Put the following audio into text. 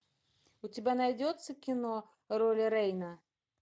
у тебя найдется кино роли рейна